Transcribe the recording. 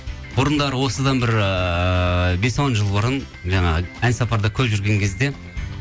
бұрындары осыдан бір ыыы бес он жыл бұрын жаңағы ән сапарда көп жүрген кезде